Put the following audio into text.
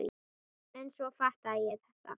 En svo fattaði ég þetta!